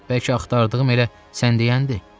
Bəlkə axtardığım elə sən deyəndir.